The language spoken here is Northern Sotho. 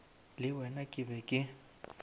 le wena ke be ke